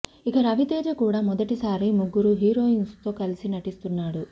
ఇక రవితేజ కూడా మొదటిసారి ముగ్గురు హీరోయిన్స్ తో కలిసి నటిస్తున్నాడు